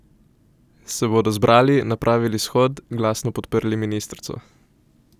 Se bodo zbrali, napravili shod, glasno podprli ministrico?